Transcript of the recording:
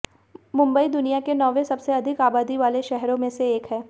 मुंबई दुनिया के नौवें सबसे अधिक आबादी वाले शहरों में से एक है